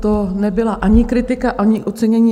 To nebyla ani kritika, ani ocenění.